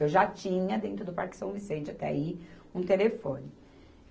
Eu já tinha, dentro do Parque São Vicente até aí, um telefone.